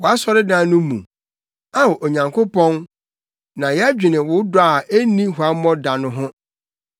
Wʼasɔredan no mu; Ao, Onyankopɔn, na yɛdwene wo dɔ a enni huammɔ da no ho,